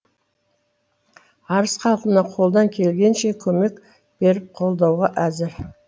арыс халқына қолдан келгенше көмек беріп қолдауға әзір